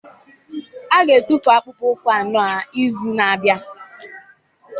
Aga-atụfu akpụkpọ ụkwụ a n'izu na-abịa